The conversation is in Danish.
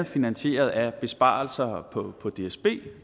finansieret af besparelser på på dsb